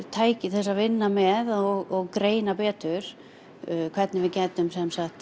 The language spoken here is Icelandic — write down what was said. tæki til að vinna með og greina betur hvernig við gætum